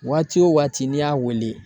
Waati wo waati n'i y'a wele